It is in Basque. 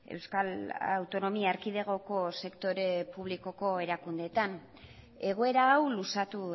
euskal autonomia erkidegoko sektore publikoko erakundeetan egoera hau luzatu